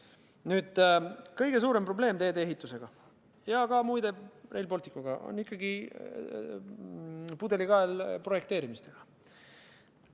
Nüüd, kõige suurem probleem teedeehituse ja muide ka Rail Balticuga on ikkagi pudelikael projekteerimises.